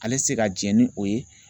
Ale tɛ se ka jɛn ni o ye